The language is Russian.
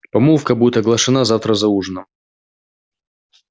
помолвка будет оглашена завтра за ужином